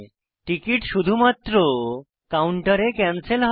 ticket শুধুমাত্র কাউন্টারে cancel হয়